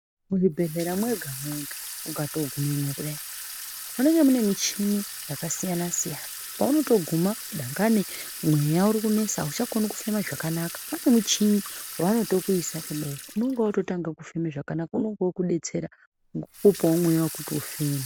Muzvibhehlera mwega-mwega ungatogumemwo kudai, munenge mune michini yakasiyana-siyana. Paunotoguma, dangani mweya urikunesa hauchakoni kufema zvakanaka. Pane muchini waanotokuisa kudai unenga woototanga kufema zvakanaka, unonga wookudetsera ngokukupawo mweya wokuti ufeme.